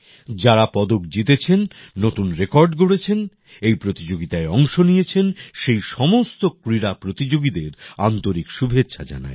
যারা পদক জিতেছেন নতুন রেকর্ড গড়েছেন এই প্রতিযোগিতায় অংশ নিয়েছেন সেই সমস্ত ক্রীড়া প্রতিযোগীদের আন্তরিক শুভেচ্ছা জানাই